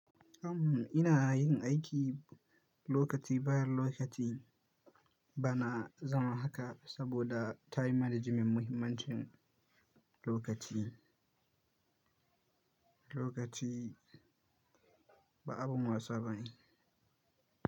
Am ina yin aiki lokaci bayan lokaci, bana zama haka saboda time management muhimmancin lokaci, lokaci ba abun wasa bane.